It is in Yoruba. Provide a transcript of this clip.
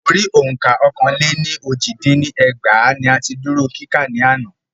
Orí òǹkà Ọ́kàn-lé-ní-ójì dín ní ẹgbàá ní a ti dúró kíkà ní àná.